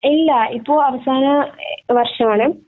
ഏയ് ഇല്ല ഇപ്പൊ അവസാന വര്ഷം ആണ്